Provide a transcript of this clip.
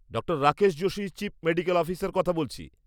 ডাঃ Rakesh Joshi, chief medical officer কথা বলছি।